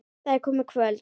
Það er komið kvöld.